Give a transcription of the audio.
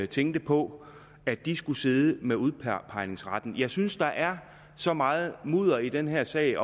tænkte på at de skulle sidde med udpegningsretten jeg synes at der er så meget mudder i den her sag